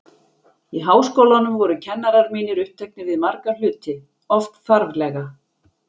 Í Háskólanum voru kennarar mínir uppteknir við marga hluti, oft þarflega.